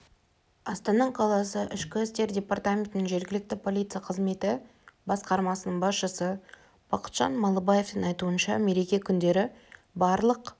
астана қаласы ішкі істер департаментінің жергілікті полиция қызметі басқармасының басшысы бақытжан малыбаевтың айтуынша мереке күндері барлық